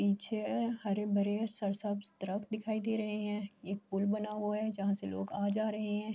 پیچھے حرے بھرے سر سب درخت دکھائی دے رہے ہے۔ یہ پول بنا ہوا ہے. جہاں سے لوگ آ جا رہے ہے۔